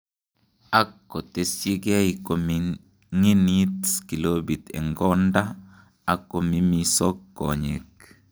Ak kotesyigei koming'init kilopit en konda ak komimisok konyek.